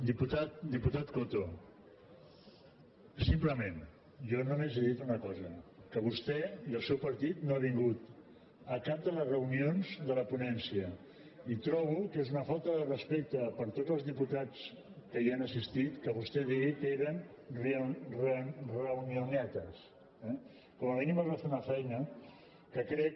diputat coto simplement jo només he dit una cosa que vostè i el seu partit no han vingut a cap de les reunions de la ponència i trobo que és una falta de respecte per a tots els diputats que hi han assistit que vostè digui que eren reunionetes eh com a mínim es va fer una feina que crec